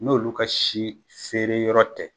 N'olu ka si feere yɔrɔ tɛ